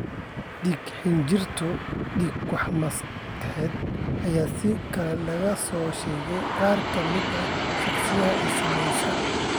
Dhiig-xinjirow iyo dhiig-bax maskaxeed ayaa sidoo kale laga soo sheegay qaar ka mid ah shakhsiyaadka ay saameeyeen.